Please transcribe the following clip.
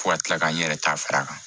Fo ka kila ka n yɛrɛ ta fara a kan